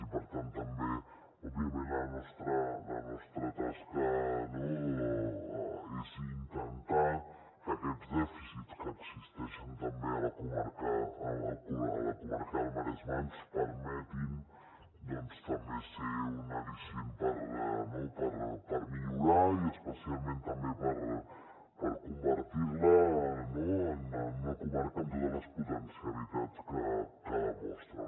i per tant òbviament la nostra tasca és intentar que aquests dèficits que existeixen també a la comarca del maresme ens permetin també ser un al·licient per millorar i especialment també per convertir la en una comarca amb totes les potencialitats que demostra